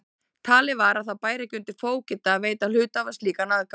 Talið var að það bæri ekki undir fógeta að veita hluthafa slíkan aðgang.